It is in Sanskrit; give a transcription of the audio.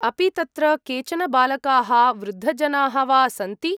अपि तत्र केचन बालकाः वृद्धजनाः वा सन्ति?